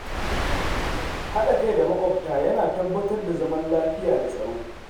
Haɗa kai da maƙwabta yana tabbatar da zaman lafiya da tsaro.